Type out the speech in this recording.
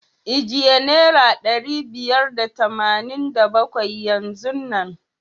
Ijiye naira ɗari biyar da tamanin da bakwai yanzu nan.